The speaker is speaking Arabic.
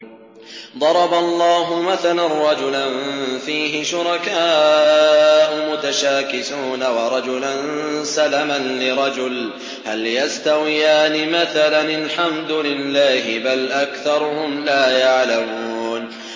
ضَرَبَ اللَّهُ مَثَلًا رَّجُلًا فِيهِ شُرَكَاءُ مُتَشَاكِسُونَ وَرَجُلًا سَلَمًا لِّرَجُلٍ هَلْ يَسْتَوِيَانِ مَثَلًا ۚ الْحَمْدُ لِلَّهِ ۚ بَلْ أَكْثَرُهُمْ لَا يَعْلَمُونَ